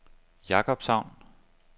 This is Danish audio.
Jakobshavn